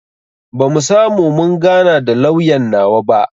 Bamu samu mun gana da lauyan nawa ba